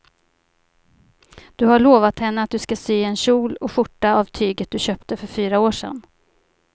Du har lovat henne att du ska sy en kjol och skjorta av tyget du köpte för fyra år sedan.